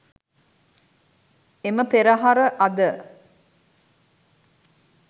එම පෙරහර අද